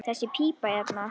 Þessi pípa hérna.